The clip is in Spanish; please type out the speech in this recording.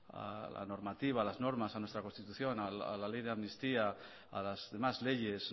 a la normativa a las normas a nuestra constitución a la ley de amnistía a las demás leyes